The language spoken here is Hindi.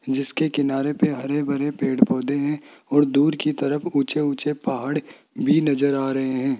जिसके किनारे पे हरे भरे पेड़ पौधे है और दूर की तरफ ऊंचे ऊंचे पहाड़ भी नजर आ रहे है।